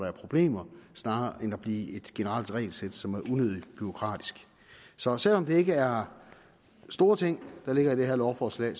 er problemer snarere end at blive et generelt regelsæt som er unødigt bureaukratisk så selv om det ikke er store ting der ligger i det her lovforslag